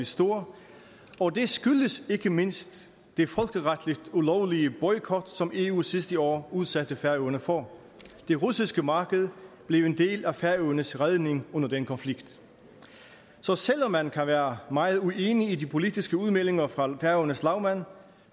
stor og det skyldes ikke mindst den folkeretligt ulovlige boykot som eu sidste år udsatte færøerne for det russiske marked blev en del af færøernes redning under den konflikt så selv om man kan være meget uenig i de politiske udmeldinger fra færøernes lagmand